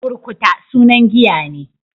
Burkuta sunan giya ne.